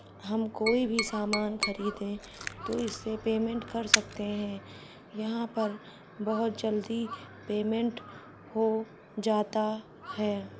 हम कोई भी सामान खरीदे तो इससे पेमेंट कर सकते हैं यहाँ पर बहुत जल्दी पेमेंट हो जाता है।